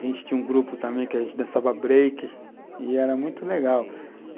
A gente tinha um grupo também que a gente dançava break, e era muito legal.